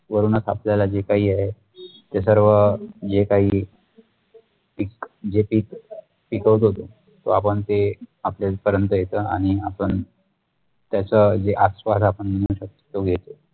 वरून आपल्याला जे काही आहे ते सर्व जे काही पीक जे पीक पिकवत होते तो आपण ते आपल्या पर्यंत येत आणि आपण त्याचा जे आस्वाद आपण म्हणू शकतो तो घेतो